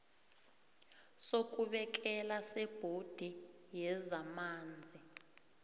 sokubekela sebhodi yezamanzi